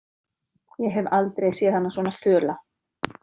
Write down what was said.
Ég hef aldrei séð hana svo föla.